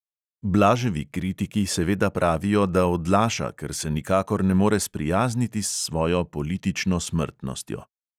Blaževi kritiki seveda pravijo, da odlaša, ker se nikakor ne more sprijazniti s svojo politično smrtnostjo.